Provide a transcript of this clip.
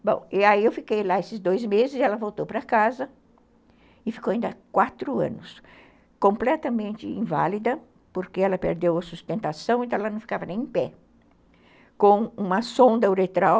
Bom, e aí eu fiquei lá esses dois meses e ela voltou para casa e ficou ainda quatro anos, completamente inválida, porque ela perdeu a sustentação, então ela não ficava nem em pé, com uma sonda uretral